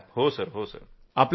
डॉ० नीतेश गुप्ताः हो सर